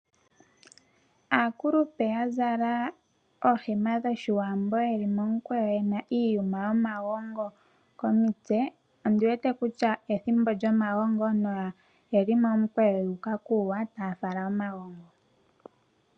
Aakulupe yazala oohema dhoshiwambo yeli momukweyo yena iiyuma yomagongo komitse. Ondiwete kutya ethimbo lyomagongo noyeli momikweyo yu uka kuuwa taya fala omagongo.